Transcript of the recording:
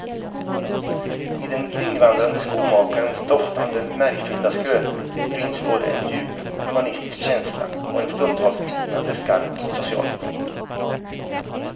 I den kringvandrande skomakarens doftande märgfyllda skrönor ryms både en djup humanistisk känsla och en stundtals bitande skarp social kritik.